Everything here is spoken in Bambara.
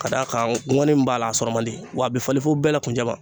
K'a d'a kan ŋɔni min b'a la a sɔrɔ man di wa a be falen fo bɛɛ la kunjɛ ma.